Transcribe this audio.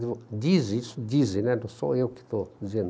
Dizem isso, dizem, não sou eu que estou dizendo.